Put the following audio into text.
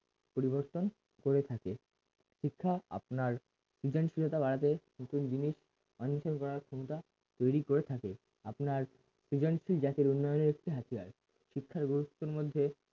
পরিবর্তন করে থাকে শিক্ষা আপনার সৃজনশীলতা বাড়াতে নতুন জিনিস অন্বেষণ করার ক্ষমতা তৈরি করে থাকে আপনার সৃজনশীল জাতির উন্নয়নের একটি হাতিয়ার শিক্ষার গুরুত্বের মধ্যে